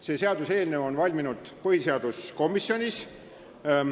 See seaduseelnõu on valminud põhiseaduskomisjonis.